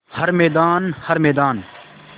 हर मैदान हर मैदान